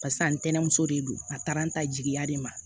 Barisa ntɛnɛmuso de don a taara n ta jigiya de ma